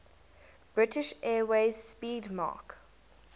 british airways 'speedmarque